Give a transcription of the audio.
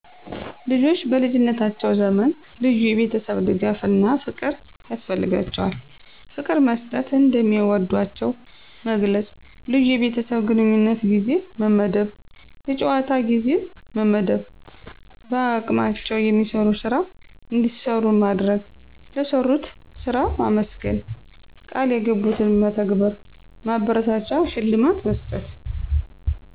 ልጆች በልጀነታቸዉ ዘመን ልዩየቤተሰብድጋፍፍና ፍቅር ያስፈልጋቸዋል። ፍቅርመሰጠት፣ እንደሚወዷቸዉ መግለጽ፣ ልዪ የቤተሰብ ግንኙነትጊዜ መመደብ፣ የጨዋታጊዜመመደብ፣ በአቅማቸዉ የሚሰራስራ እንዲሰሩማድረግ፣ ለሰሩትስራ ማመስገን፣ ቀልየገቡትን መተግበር፣ ማበረታቻሽልማት መስጠት